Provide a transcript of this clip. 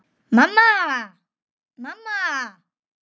Mamma, mamma.